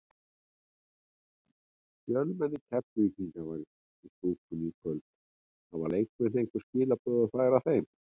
Fjölmenni Keflvíkinga var í stúkunni í kvöld, hafa leikmenn einhver skilaboð að færa þeim?